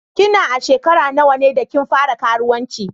Ki na a'shekara nawa ne da kin fara karuwanci?